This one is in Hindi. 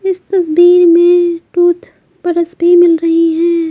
इस तस्वीर में टूथ बरस भी मिल रही है।